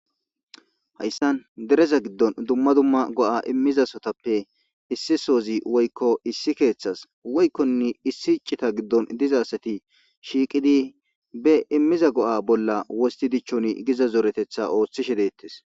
hayssan dereza giddon dumma dumma go'a imiza assatappe issi soozi woykko issi keeththas woykkonne issi ciita giddon diza assati shiiqidi be imiza go'a bolla wostti dichchoni giiza zoreeteththa ooththishshe dettees